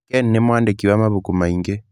Ken nĩ mwandĩki wa mabuku maingĩ.